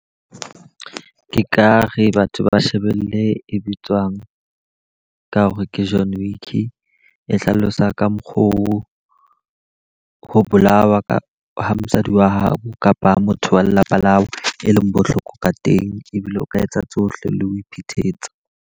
Ke ka re batho ba shebelle e bitswang ka hore ke John Wick. E hlalosa ka mokgo ho bolawa ka ha mosadi wa hao kapa motho wa lelapa la hao e leng bohloko ka teng. Ebile o ka etsa tsohle le ho iphetetsa.